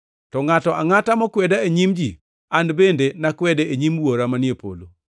To ngʼato angʼata mokweda e nyim ji an bende nakwede e nyim Wuora manie polo.